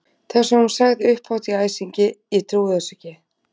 Það sem hún sagði upphátt í æsingi: Ég trúi þessu ekki!